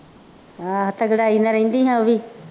ਆਹ ਤਕੜਾਈ ਨਾਲ ਰਹਿੰਦੀ ਨਾ ਉਹ ਵੀ,